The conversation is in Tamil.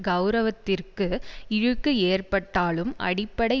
கெளரவத்திற்கு இழுக்கு ஏற்பட்டாலும் அடிப்படை